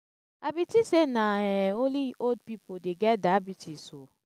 i bin tink sey na um only old pipo dey get diabetes o.